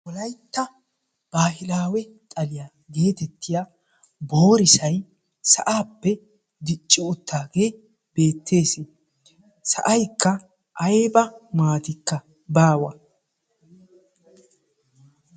wolaytta bahilawee xaliya geetetiya boorissay sa"appe dicci uttidage beetessi a mattankka aybba maatikka baawa.